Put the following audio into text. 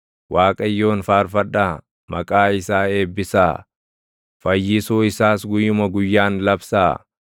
Waaqayyoon faarfadhaa; maqaa isaa eebbisaa; fayyisuu isaas guyyuma guyyaan labsaa.